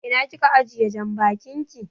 Ina kika ajiye janbakin ki?